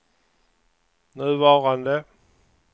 nuvarande